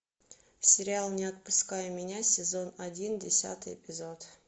сериал не отпускай меня сезон один десятый эпизод